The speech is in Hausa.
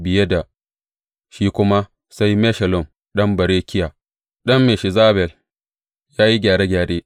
Biye da shi kuma sai Meshullam ɗan Berekiya, ɗan Meshezabel ya yi gyare gyare.